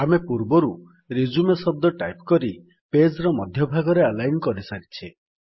ଆମେ ପୂର୍ବରୁ ରିଜ୍ୟୁମ ଶବ୍ଦ ଟାଇପ୍ କରି ପେଜ୍ ର ମଧ୍ୟ ଭାଗରେ ଆଲାଇନ୍ କରିଛେ